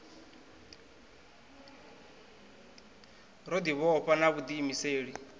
ro ḓi vhofha na vhuḓiimiseli